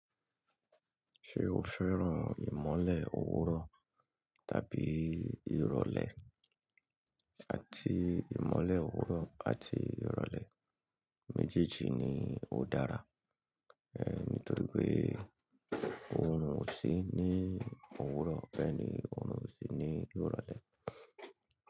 Ṣé o fẹ́ràn ìmọ̀le òwúrọ̀ tàbí ìrọ̀lẹ́? Àti ìmọ̀le òwúrọ̀ àti ìrọ̀lẹ́ méjèèjì ni ó dára, eh nítorí pé òrun ò sí ní òwúrọ̀ bẹ́ẹ̀ ni òrun ò sí ní ìrọ̀lẹ́.